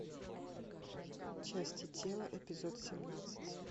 части тела эпизод семнадцать